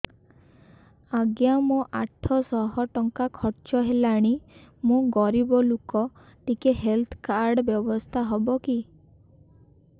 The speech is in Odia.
ଆଜ୍ଞା ମୋ ଆଠ ସହ ଟଙ୍କା ଖର୍ଚ୍ଚ ହେଲାଣି ମୁଁ ଗରିବ ଲୁକ ଟିକେ ହେଲ୍ଥ କାର୍ଡ ବ୍ୟବସ୍ଥା ହବ କି